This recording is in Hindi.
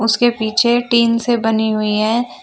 उसके पीछे टीन से बनी हुई है।